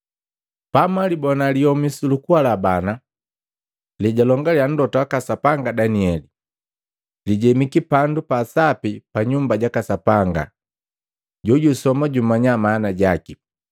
“Pamwibona ‘Liyomisu Lukuhalabana,’ lejalongila mlota waka Sapanga Danieli, lijemiki pandu pa sapi pa Nyumba jaka Sapanga, jojusoma jumanya maana jaki.”